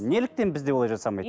неліктен бізде олай жасамайды